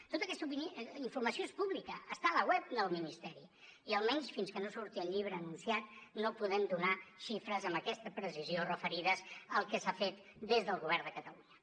tota aquesta informació és pública està a la web del ministeri i almenys fins que no surti el llibre anunciat no podem donar xifres amb aquesta precisió referides al que s’ha fet des del govern de catalunya